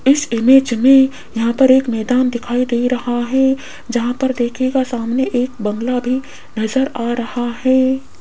इस इमेज में यहां पर एक मैदान दिखाई दे रहा है जहां पर दिखेगा सामने एक बंगला भी नजर आ रहा है।